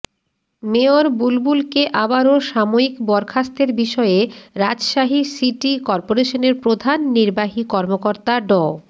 mayor বুলবুলকে আবারও সাময়িক বরখাস্তের বিষয়ে রাজশাহী সিটি করপোরেশনের প্রধান নির্বাহী কর্মকর্তা ড